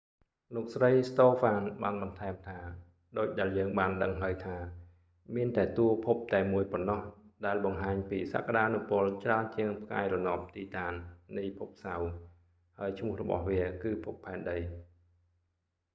លោកស្រី ស្តូហ្វាន បានបន្ថែមថា ដូចដែលយើងបានដឹងហើយថា មានតែតួភពតែមួយប៉ុណ្ណោះ ដែលបង្ហាញពីសក្ដានុពលច្រើនជាងផ្កាយរណប ទីតាន នៃភពសៅរ៍ ហើយឈ្មោះរបស់វា គឺភពផែនដី